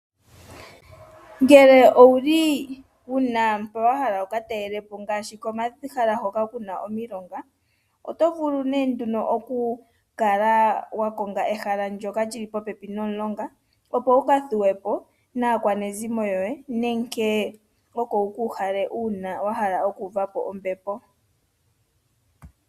Ngele owuli wahala wuka talelepo ngaashi komahala ngoka kuna omilonga oto vulu nee nduno okukala wakonga ehala ndyoka lyili popepi nomulonga opo wuka thuwe po naakwanezimo yoye nenge oko wuka uhale uuna wahala oku uvapo ombepo.